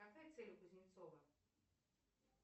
какая цель у кузнецова